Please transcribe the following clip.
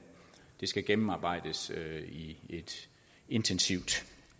det skal gennemarbejdes i et intensivt